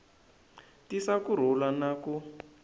tisa ku rhula na ku